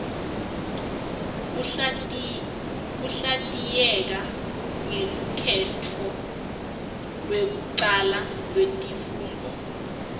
kuhlatiyeka ngelukhetto lekucala letifundvo